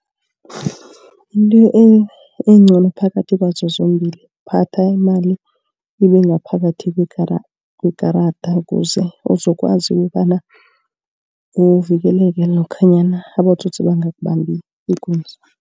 Into encono phakathi kwazo zombili kuphatha imali ibe ngaphakathi kwekarada. Ukuze uzokwazi ukobana uvikeleke lokhanyana abotsotsi bangakubambi ikunzi.